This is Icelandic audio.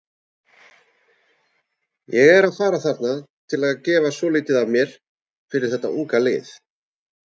Ég er að fara þarna til að gefa svolítið af mér fyrir þetta unga lið.